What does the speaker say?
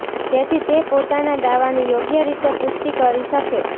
જેથી તે પોતાનાં દાવાની યોગ્ય રીતે પૃષ્ટી કરી શકે